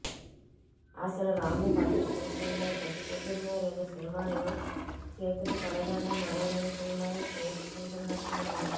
అసలు రాము పద్దతి చూస్తుంటే పొద్దు పొద్దున్నే రెండు సినిమాలు చీకటి పడగానే మరో రెండు సినిమాలు చేసుకుంటున్నట్లు ఉన్నది